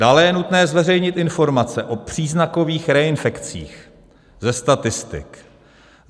Dále je nutné zveřejnit informace o příznakových reinfekcích ze statistik.